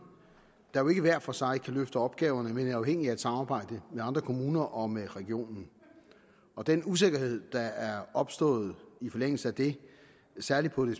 der jo ikke hver for sig kan løfte opgaverne men er afhængige af et samarbejde med andre kommuner og med regionen den usikkerhed der er opstået i forlængelse af det særligt på det